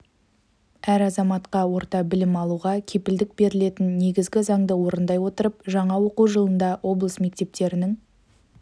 әр азаматқа орта білім алуға кепілдік берілетін негізгі заңды орындай отырып жаңа оқу жылында облыс мектептерінің